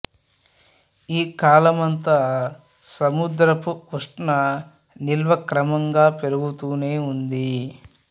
ఈ కాలమంతా సముద్రపు ఉష్ణ నిల్వ క్రమంగా పెరుగుతూనే ఉంది